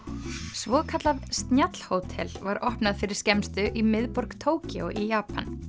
svokallað var opnað fyrir skemmstu miðborg Tókýó í Japan